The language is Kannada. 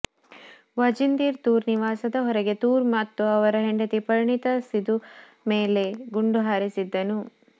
ವಾಜಿಂದೀರ್ ತೂರ್ ನಿವಾಸದ ಹೊರಗೆ ತೂರ್ ಮತ್ತು ಅವರ ಹೆಂಡತಿ ಪರ್ಣಿತಾ ಸಿದು ಮೇಲೆ ಗುಂಡು ಹಾರಿಸಿದ್ದನು